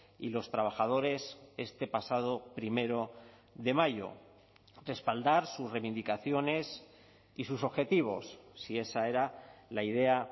y los trabajadores este pasado primero de mayo respaldar sus reivindicaciones y sus objetivos si esa era la idea